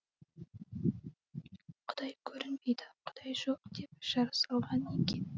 құдай көрінбейді құдай жоқ деп жар салған екен